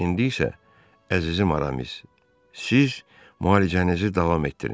İndi isə əzizim Aramis, siz müalicənizi davam etdirin.